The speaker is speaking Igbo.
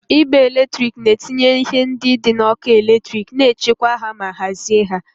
Igbe eletrik na-etinye ihe ndị dị n'ọkụ eletrik, na-echekwa ha ma hazie ya.